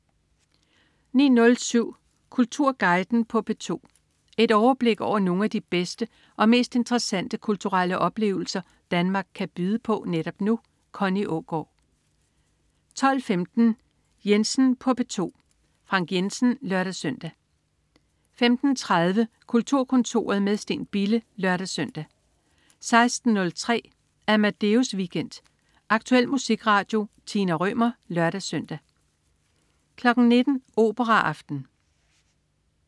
09.07 Kulturguiden på P2. Et overblik over nogle af de bedste og mest interessante kulturelle oplevelser Danmark kan byde på netop nu. Connie Aagaard 12.15 Jensen på P2. Frank Jensen (lør-søn) 15.30 Kulturkontoret med Steen Bille (lør-søn) 16.03 Amadeus Weekend. Aktuel musikradio. Tina Rømer (lør-søn) 19.00 Operaaften